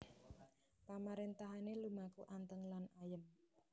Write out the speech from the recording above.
Pamaréntahané lumaku anteng lan ayem